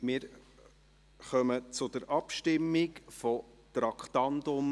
Wir kommen zur Abstimmung zu Traktandum